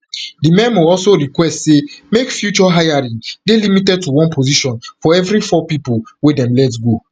di memo also request say make future hiring dey limited to one position for every four pipo wey dem let go